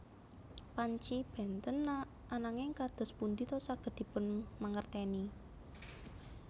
Panci bènten ananging kados pundi ta saged dipun mangertèni